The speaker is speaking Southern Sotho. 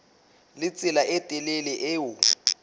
le tsela e telele eo